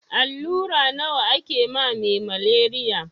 Allura nawa ake ma me maleriya?